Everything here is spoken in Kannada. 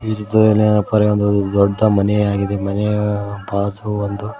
ದೊಡ್ದ ಮನೆ ಆಗಿದೆ ಮನೆಯ ಬಾಜು ಒಂದು--